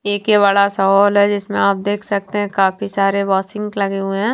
एक ये बड़ा सा हॉल है जिसमें आप देख सकते हैं काफी सारे वहां सिंक लगे हुए हैं।